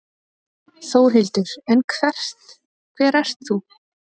Þórhildur: En hver ert þú?